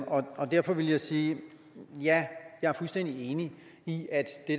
og derfor vil jeg sige at ja jeg er fuldstændig enig i at det